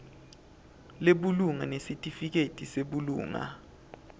lebulunga nesitifiketi sebulunga